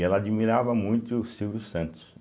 E ela admirava muito o Silvio Santos.